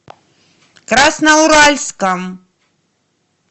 красноуральском